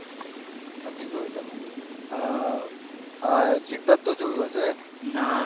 નથી જોયું તમે આ સિદ્ધાર્થ તો જોયું હશે